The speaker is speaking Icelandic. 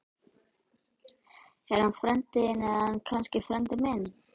Er hann frændi minn eða er hann ekki frændi minn?